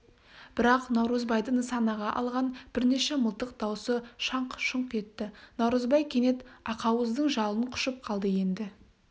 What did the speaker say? бірақ наурызбайды нысанаға алған бірнеше мылтық даусы шаңқ-шұңқ етті наурызбай кенет ақауыздың жалын құшып қалды енді